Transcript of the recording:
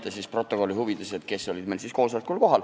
Ma loen protokolli huvides ette, kes olid koosolekul kohal.